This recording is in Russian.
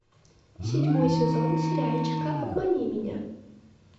седьмой сезон сериальчика обмани меня